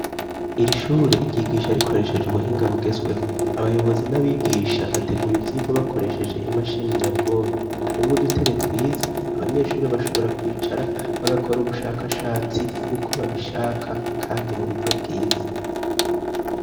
Iri shure ryigisha rikoresheje ubuhinga bugezweho ,abayobozi n'abigisha bategura ivyigwa bakoresheje imashini nyabwonko harimwe udutebe twiza abanyeshuri bashobora kwicara bagakora ubushakashatsi uko babishaka kandi mu buryo bwiza